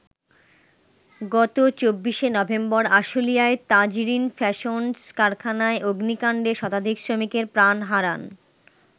গত ২৪শে নভেম্বর আশুলিয়ায় তাজরীন ফ্যাশনস কারখানায় অগ্নিকাণ্ডে শতাধিক শ্রমিকের প্রাণ হারান।